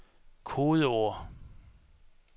kodeord